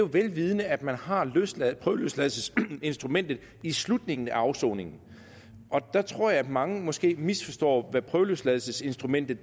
vel vidende at man har prøveløsladelsesinstrumentet i slutningen af afsoningen der tror jeg at mange måske misforstår hvad prøveløsladelsesinstrumentet